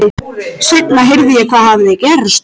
Seinna heyrði ég hvað hafði gerst.